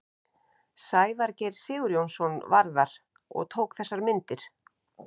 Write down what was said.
Sævar Geir Sigurjónsson var þar og tók þessar myndir.